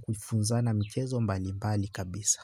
kufunza na mchezo mbali mbali kabisa.